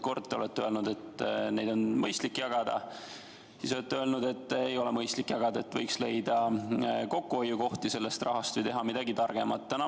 Kord te olete öelnud, et seda on mõistlik jagada, siis te olete öelnud, et ei ole mõistlik jagada, et võiks leida kokkuhoiukohti selle raha abil või teha sellega midagi targemat.